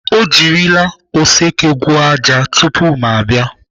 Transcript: Ọ jirila oseke gwuo ájá tupu ma abịa.